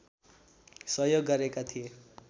सहयोग गरेका थिए